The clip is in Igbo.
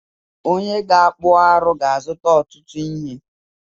Onye ga-akpụ arụ ga-azụta ọtụtụ ihe